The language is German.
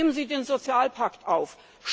Nehmen Sie den Sozialpakt auf.